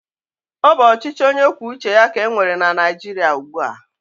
Ọ bụ ọchịchị onyekwuoucheya ka e nwere na Naịjiria ugbu a.